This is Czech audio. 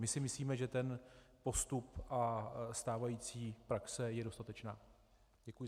My si myslíme, že ten postup a stávající praxe jsou dostatečné.